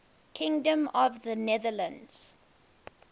kingdom of the netherlands